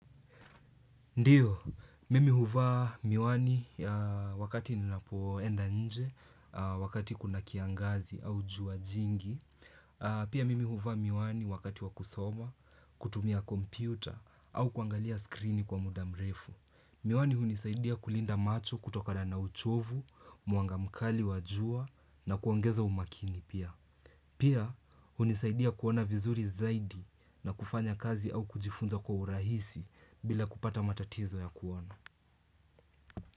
Ndiyo, mimi huvaa miwani wakati nina poenda nje, wakati kuna kiangazi au jua jingi. Pia mimi huvaa miwani wakati wakusoma, kutumia kompyuta au kuangalia skrini kwa mudamrefu. Miwani hunisaidia kulinda macho kutokana na uchovu, muanga mkali wajua na kuongeza umakini pia. Pia, hunisaidia kuona vizuri zaidi na kufanya kazi au kujifunza kwa urahisi bila kupata matatizo ya kuona.